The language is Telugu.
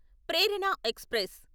ప్రేరణ ఎక్స్ప్రెస్